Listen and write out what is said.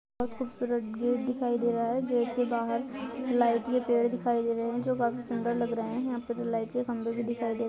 बहुत खूबसूरत गेट दिखाई दे रहा है गेट के बाहर लाइट के पेड़ दिखाई दे रहे है जो काफी सुंदर लग रहा है यहाँ पे लाइट के खंबे भी दिखाई दे रहे है।